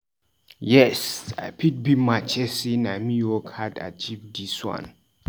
Yes, I fit beat my chest sey na me work hard achieve dis one.